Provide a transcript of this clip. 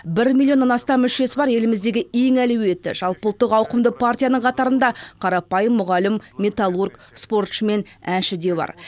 бір миллионнан астам мүшесі бар еліміздегі ең әлеуетті жалпы ұлттық ауқымды партиянның қатарында қарапайым мұғалім металлург спортшы мен әнші де бар